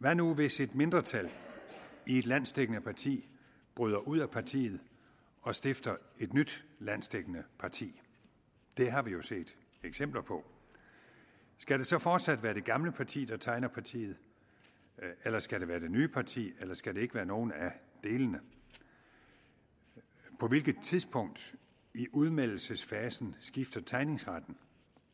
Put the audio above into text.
hvad nu hvis et mindretal i et landsdækkende parti bryder ud af partiet og stifter et nyt landsdækkende parti det har vi jo set eksempler på skal det så fortsat være det gamle parti der tegner partiet eller skal det være det nye parti eller skal det ikke være nogen af delene på hvilket tidspunkt i udmeldelsesfasen skifter tegningsretten